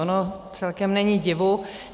Ono celkem není divu.